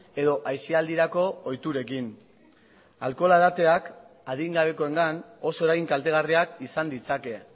edo aisialdirako ohiturekin alkohola edateak adingabekoengan oso eragin kaltegarriak izan ditzake